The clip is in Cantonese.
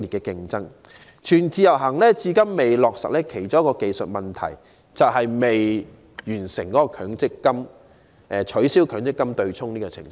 令"全自由行"至今未能落實的其中一個技術問題，就是強積金對沖機制仍未取消。